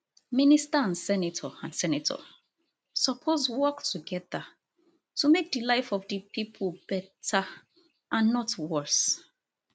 minister and senator and senator suppose work togeda to make di life of di pipo beta and not worse